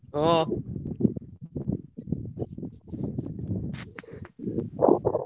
ହଁ।